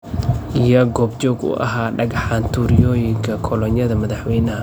Yaa goob joog u ahaa dhagxaan turyoogii kolonyada madaxweynaha?